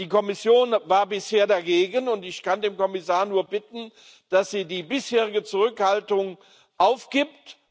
Die Kommission war bisher dagegen, und ich kann den Kommissar nur bitten, dass sie die bisherige Zurückhaltung aufgibt.